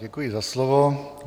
Děkuji za slovo.